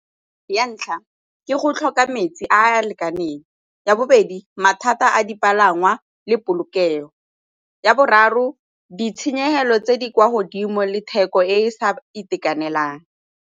Ya ntlha, ke go tlhoka metsi a a lekaneng. Ya bobedi, mathata a dipalangwa le polokego. Ya boraro, ditshenyegelo tse di kwa godimo le theko e sa itekanelang.